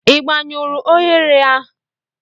Ị gbanyụrụ oghere?